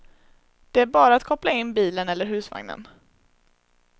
Det är bara att koppla in bilen eller husvagnen.